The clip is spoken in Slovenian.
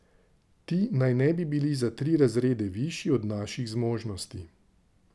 Ti naj ne bi bili za tri razrede višji od naših zmožnosti.